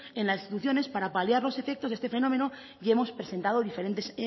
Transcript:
en las instituciones para paliar los efectos de este fenómeno y hemos presentado diferentes